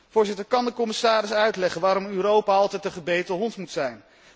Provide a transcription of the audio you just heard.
Voorzitter, kan de commissaris uitleggen waarom Europa altijd de gebeten hond moet zijn.